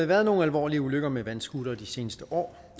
været nogle alvorlige ulykker med vandscootere de seneste år